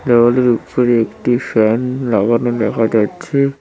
দেওয়ালের উপরে একটি ফ্যান লাগানো দেখা যাচ্ছে।